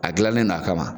A gilannen no a kama